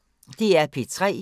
DR P3